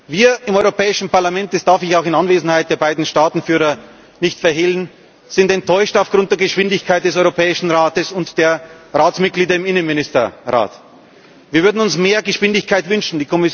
Wir im Europäischen Parlament das darf ich auch in Anwesenheit der beiden Staatenführer nicht verhehlen sind enttäuscht aufgrund der Geschwindigkeit des Europäischen Rates und der Ratsmitglieder im Innenministerrat Wir würden uns mehr Geschwindigkeit wünschen.